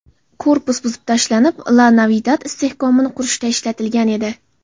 Korpus buzib tashlanib, La-Navidad istehkomini qurishda ishlatilgan edi.